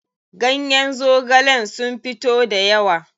Ganyen zogalen sun fito dayawa.